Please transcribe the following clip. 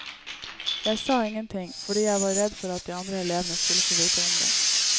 Jeg sa ingenting, fordi jeg var redd for at de andre elevene skulle få vite om det.